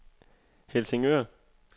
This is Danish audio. Helsingør